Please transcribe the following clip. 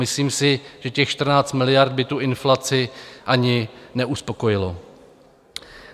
Myslím si, že těch 14 miliard by tu inflaci ani neuspokojilo.